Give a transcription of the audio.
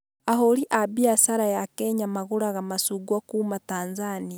Ahũri a mbiacara ya Kenya magũraga macungwa kuma Tanzania